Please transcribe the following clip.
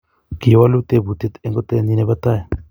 Kiwoluu tebutie eng kotee nyii ne bo tai.